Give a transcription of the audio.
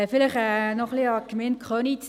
Vielleicht noch ein wenig an die Gemeinde Köniz